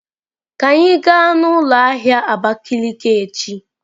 Ka anyị gaa n'ụlọ ahịa Abakiliki echi!